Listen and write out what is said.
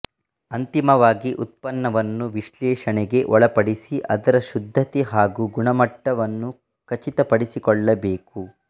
ಅಂತಿಮವಾಗಿ ಉತ್ಪನ್ನವನ್ನು ವಿಶ್ಲೇಷಣೆಗೆ ಒಳಪಡಿಸಿ ಅದರ ಶುದ್ಧತೆ ಹಾಗೂ ಗುಣಮಟ್ಟವನ್ನು ಖಚಿತಪಡಿಸಿಕೊಳ್ಳಬೇಕು